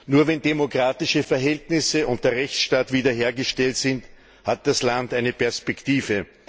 Nur wenn demokratische Verhältnisse und der Rechtsstaat wiederhergestellt sind, hat das Land eine Perspektive.